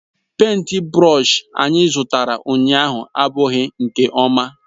Pèịnt brọsh anyị zụtara ụnyahụ abụghị nke ọma.